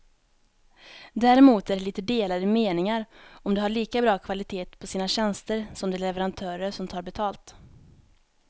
Däremot är det lite delade meningar om de har lika bra kvalitet på sina tjänster som de leverantörer som tar betalt.